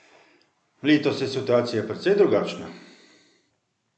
Letos je situacija precej drugačna?